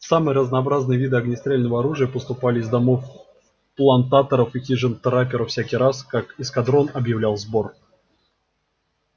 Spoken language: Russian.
самые разнообразные виды огнестрельного оружия поступали из домов плантаторов и хижин трапперов всякий раз как эскадрон объявлял сбор